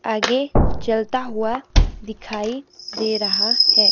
आगे चलता हुआ दिखाई दे रहा है।